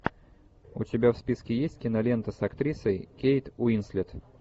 у тебя в списке есть кинолента с актрисой кейт уинслет